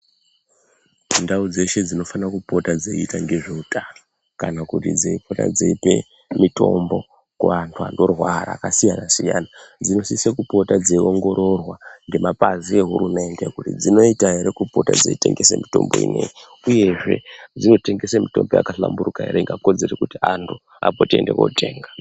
Ndau dzeshe dzifanirwa kupota dzeita ngezveutano kana kuti dzepota dzeipa mutombo kuandu vanorwara vakasiyana siyana dzinosisa kupota dzeongororwa ngemapazi ehurumende kuti dzinoita ere kupota dzeitengesa mutombo inei uyezve dzinotengesa mutombo yakahlamburika ere ingakodzere kuti andu vapote veienda kundotenga.